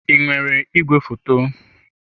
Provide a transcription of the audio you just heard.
Ị nwere igwefoto?